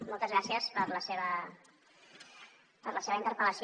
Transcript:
moltes gràcies per la seva interpellació